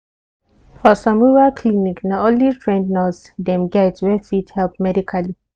for some rural clinic na only trained nurse dem get wey fit help medically.